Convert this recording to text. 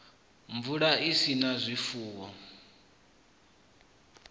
mvula i sa na zwifuwo